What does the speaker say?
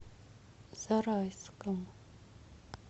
зарайском